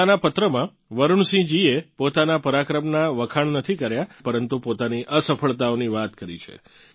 પોતાનાં પત્રમાં વરુણ સિંહજીએ પોતાના પરાક્રમનાં વખાણ નથી કર્યા પરંતુ પોતાની અસફળતાઓની વાત કરી છે